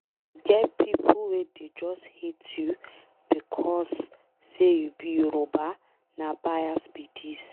E get pipo wey go just hate you becos say you be Yoruba na bais be dis.